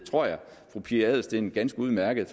tror jeg at fru pia adelsteen ganske udmærket